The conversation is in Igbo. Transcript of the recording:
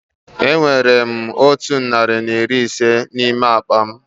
Enwere m otụ narị na iri ise n'ime akpa m